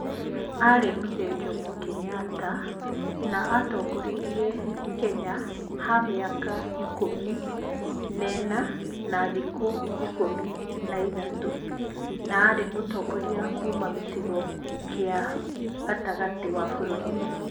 Arĩ Mzee Jomo Kenyatta, na atongoririe Kenya ha mĩaka ikũmi na ĩna na thikũ ikũmi na ithatũ. Na arĩ mũtongoria kuuma gĩcigo gĩa gatagatĩ wa bũrũri.